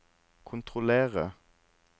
kontrollere